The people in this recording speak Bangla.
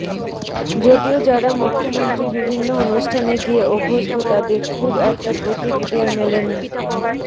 যদিও যারা মুখ্যমন্ত্রীর বিভিন্ন অনুষ্ঠানে গিয়ে অভ্যস্ত তাদের খুব একটা প্রতিক্রিয়া মেলেনি